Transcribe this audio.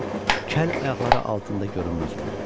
Şirxan kəllə ayaqları altında görünməz oldu.